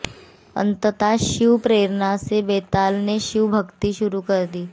अन्ततः शिव प्रेरणा से बेताल ने शिव भक्ति शुरू कर दी